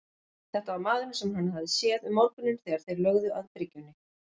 Þetta var maðurinn sem hann hafði séð um morguninn þegar þeir lögðu að bryggjunni.